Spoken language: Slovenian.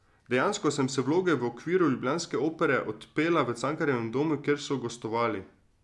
Dejansko sem vse vloge v okviru ljubljanske Opere odpela v Cankarjevem domu, kjer so gostovali.